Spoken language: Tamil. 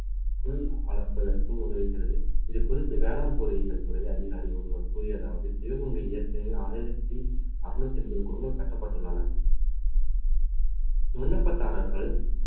புல் வளர்ப்பதற்கு உதவுகிறது இது குறித்து வேளாண் பொருளியல் துறை அதிகாரி ஒருவர் கூறியதாவது சிவகங்கையில் ஏற்கனவே ஆயிரத்தி அறுநூத்தி எண்பது குளங்கள் கட்டப்பட்டுள்ளன விண்ணப்பதாரர்கள்